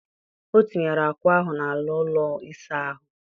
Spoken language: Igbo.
O tinyere akwa ahụ n'ala ụlọ ịsa ahụ.